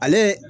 Ale